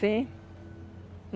Sim.